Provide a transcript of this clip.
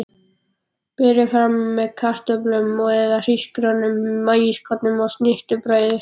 Berið fram með kartöflum eða hrísgrjónum, maískornum og snittubrauði.